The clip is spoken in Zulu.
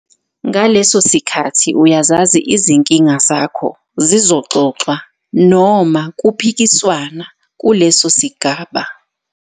Ngaleso sikhathi uyazazi izinkinga zakho zizoxoxwa noma kuphikiswana kuleso sigaba.